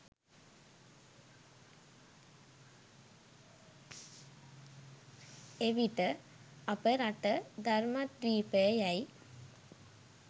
එවිට අප රට ධර්මද්වීපය යැයි